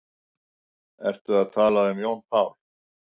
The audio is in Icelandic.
Ertu að tala um Jón Pál?